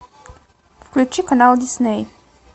включи канал дисней